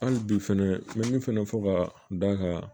Hali bi fɛnɛ n bɛ min fɛnɛ fɔ ka da ka